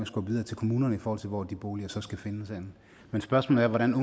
skubbe videre til kommunerne i forhold til hvor de boliger så skal findes henne men spørgsmålet er hvordan